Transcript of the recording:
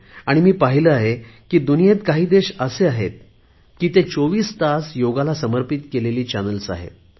आणि मी पाहिले आहे जगात काही देश असे आहेत की जिथे चोवीस तास योगाला समर्पित केलेले चॅनल्स आहेत